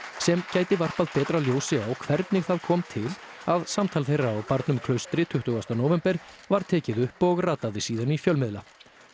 sem gæti varpað betra ljósi á hvernig það kom til að samtal þeirra á barnum Klaustri tuttugasta nóvember var tekið upp og rataði síðan í fjölmiðla